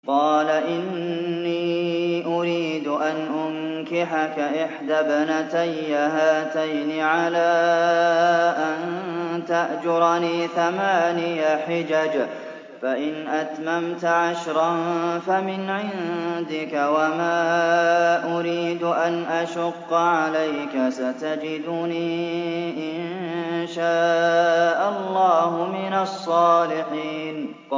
قَالَ إِنِّي أُرِيدُ أَنْ أُنكِحَكَ إِحْدَى ابْنَتَيَّ هَاتَيْنِ عَلَىٰ أَن تَأْجُرَنِي ثَمَانِيَ حِجَجٍ ۖ فَإِنْ أَتْمَمْتَ عَشْرًا فَمِنْ عِندِكَ ۖ وَمَا أُرِيدُ أَنْ أَشُقَّ عَلَيْكَ ۚ سَتَجِدُنِي إِن شَاءَ اللَّهُ مِنَ الصَّالِحِينَ